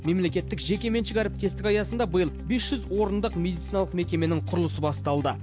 мемлекеттік жекеменшік әріптестік аясында биыл бес жүз орындық медициналық мекеменің құрылысы басталды